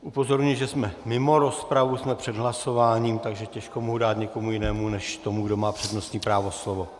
Upozorňuji, že jsme mimo rozpravu, jsme před hlasováním, takže těžko mohu dát někomu jinému než tomu, kdo má přednostní právo, slovo.